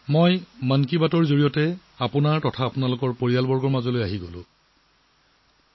মই আকৌ এবাৰ আপোনালোকৰ মাজলৈ মোৰ পৰিয়ালৰ মাজলৈ 'মন কী বাট'ৰ জৰিয়তে ঘুৰি আহিছো